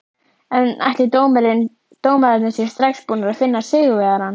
En ætli dómararnir séu strax búnir að finna sigurvegarann?